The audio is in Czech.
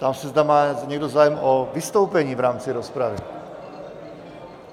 Ptám se, zda má někdo zájem o vystoupení v rámci rozpravy.